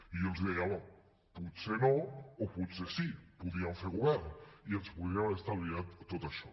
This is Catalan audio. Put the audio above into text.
i jo els deia home potser no o potser sí podríem fer govern i ens podríem haver estalviat tot això